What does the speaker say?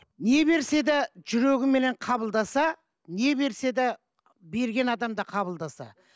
не берсе де жүрегіменен қабылдаса не берсе де берген адам да қабылдаса